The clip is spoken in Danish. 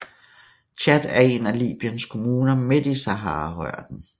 Ghat er en af Libyens kommuner midt i Saharaørknen